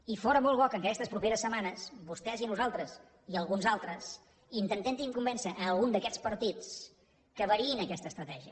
i fóra molt bo que en aquestes properes setmanes vostès i nosaltres i alguns altres intentéssim convèncer a algun d’aquests partits que variïn aquesta estratègia